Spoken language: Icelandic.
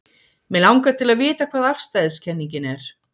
Mig langar til að vita hvað afstæðiskenningin er.